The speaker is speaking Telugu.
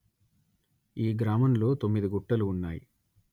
ఈ గ్రామంలో తొమ్మిది గుట్టలు ఉన్నాయి